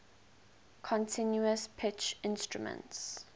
continuous pitch instruments